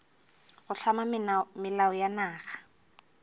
go hlama melao ya naga